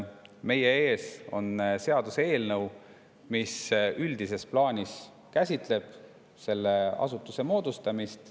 Meie ees on seaduseelnõu, mis üldises plaanis käsitleb selle asutuse moodustamist.